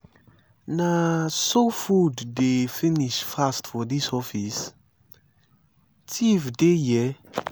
na so food dey finish fast for dis office thief dey here?